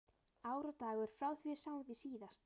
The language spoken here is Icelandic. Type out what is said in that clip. Ár og dagur frá því við sáum þig síðast